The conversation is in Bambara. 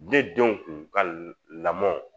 Ne denw kun ka lamɔn